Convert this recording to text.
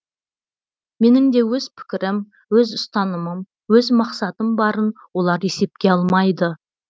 менің де өз пікірім өз ұстанымым өз мақсатым барын олар есепке алмайды